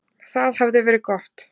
Það hafði verið gott.